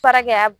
Fara kɛ ya